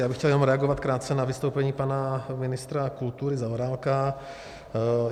Já bych chtěl jenom reagovat krátce na vystoupení pana ministra kultury Zaorálka.